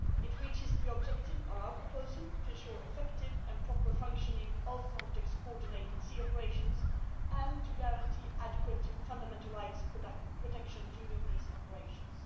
It achieves the objective of our proposal to ensure the effective and proper functioning of Frontex coordinated sea operations and to guarantee proper fundamental rights protection during these operations.